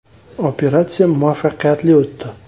Operatsiya muvaffaqiyatli o‘tdi.